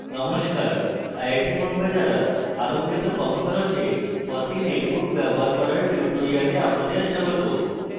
নমস্কার iit বোম্বে দ্বারা আরম্ভিত কম খরচে fossee netbook ব্যবহার করার tutorial আপনাদের স্বাগত